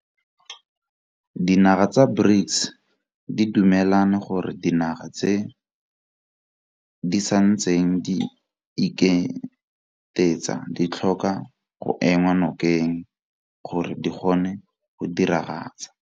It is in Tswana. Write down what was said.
Dinaga tsa BRICS di dumelane gore dinaga tse di santseng di iketetsa ditlhoka go enngwa nokeng gore di kgone go diragatsa.